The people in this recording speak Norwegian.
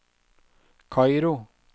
Kairo